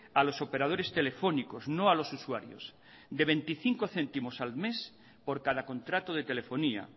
a los operadores telefónicos no a los usuarios de veinticinco céntimos al mes por cada contrato de telefonía